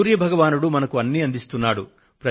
సూర్య భగవానుడు మనకు అన్నీ అందిస్తున్నాడు